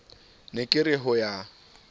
ne ke re ho ya